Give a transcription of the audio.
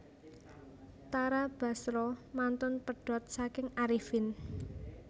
Tara Basro mantun pedhot saking Arifin